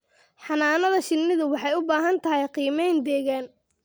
Xannaanada shinnidu waxay u baahan tahay qiimayn deegaan.